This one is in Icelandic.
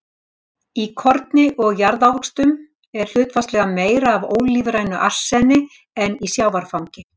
Í korni og jarðávöxtum er hlutfallslega meira af ólífrænu arseni en í sjávarfangi.